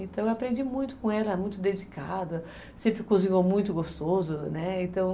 Então eu aprendi muito com ela, muito dedicada, sempre cozinhou muito gostoso, né, então